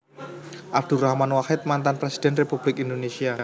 Abdurrahman Wahid Mantan Presiden Republik Indonésia